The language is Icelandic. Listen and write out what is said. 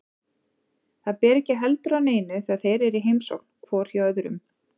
Það ber ekki heldur á neinu þegar þeir eru í heimsókn hvor hjá öðrum.